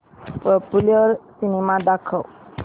popular cinema दाखव